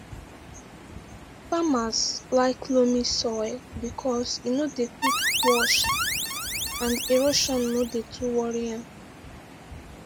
farmers like loamy soil because say e no dey quick wash and erosion no dey too worry am